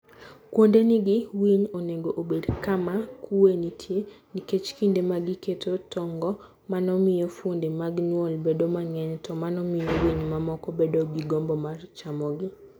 Kuonde ni gi winy onego obed kama kuwe nitie, nikech kinde ma giketo tong'go, mano miyo fuonde mag nyuol bedo mang'eny, to mano miyo winy mamoko bedo gi gombo mar chamo gi.